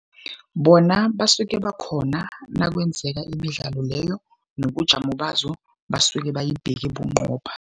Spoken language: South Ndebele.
Bona basuke bakhona nakwenzeka imidlalo leyo, nobujamo bazo basuke bayibheke bunqopha.